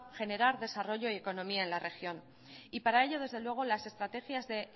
general desarrollo y economía en la región y para ello desde luego las estrategias de